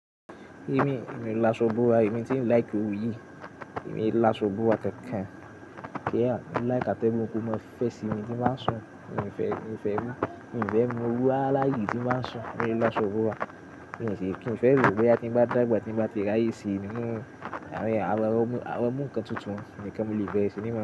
Èmi, èmi láṣọ búra, èmi tí ń like orú yìí, èmi láṣọ búra kankan. Kíá, mo láì kàtẹ́bù mo kò mọ fẹ síbi tí n bá sùn, mo n fẹ, mo n fẹ rú, mo n fẹ mú owó aláyìí tí n bá sùn, mo láṣọ búra. Èmi sì kí n fẹ rú wẹ́, tí n bá dàgbà, tí n bá ti rí àìsí nínú, àwọn ọmọ, àwọn ọmọ ǹkan tuntun nìkan mo lè fẹ sí nímọ̀